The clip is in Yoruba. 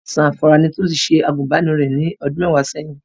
Zamfara ni Tolú ti ṣe àgùnbánirọ̀ rẹ̀ ní ọdún mẹ́wàá ṣẹ́yìn.